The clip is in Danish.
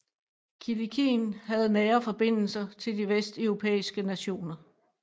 Kilikien havde nære forbindelser til de vesteuropæiske nationer